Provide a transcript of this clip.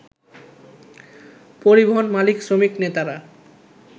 পরিবহন মালিক-শ্রমিক নেতারা